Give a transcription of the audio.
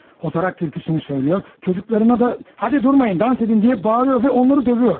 Xotaraq türküsünü oxuyur, uşaqlarına da "haydi, dayanmayın, rəqs edin" deyə bağırır və onları döyür.